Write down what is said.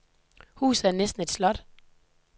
Huset var næsten et slot.